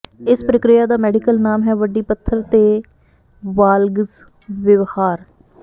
ਇਸ ਪ੍ਰਕਿਰਿਆ ਦਾ ਮੈਡੀਕਲ ਨਾਮ ਹੈ ਵੱਡੀ ਪਥਰ ਦੇ ਵਾਲਗਸ ਵਿਵਹਾਰ